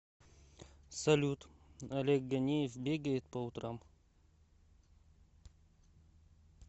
салют олег ганеев бегает по утрам